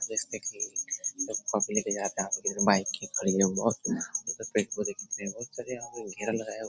जैसा की public bike खड़ी है बहोत बहोत सारे यहाँ पे घेरा लगाया --